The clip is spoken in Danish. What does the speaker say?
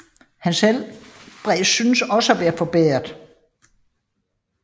Hans helbred syntes også at være forbedret